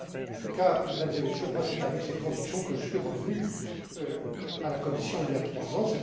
En tout cas, Mesdames et Messieurs, c'est avec cette conviction que je suis revenu à la Commission, il y a trois ans.